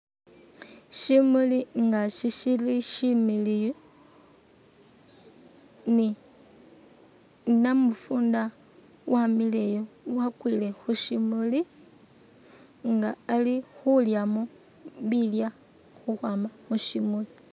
Shimuli nga shili shimiliyu ni namufunda wamileyo wakwile khushimuli inga ali khulyamo bilyo khukhwama mushimuli